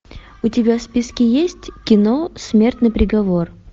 у тебя в списке есть кино смертный приговор